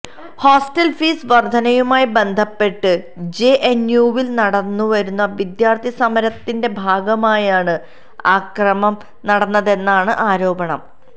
hostel fees വര്ധനയുമായി ബന്ധപ്പെട്ട് ജെഎന്യുവില് നടന്നുവരുന്ന വിദ്യാര്ഥി സമരത്തിന്റെ ഭാഗമായാണ് അക്രമം നടന്നതെന്നാണ് ആരോപണം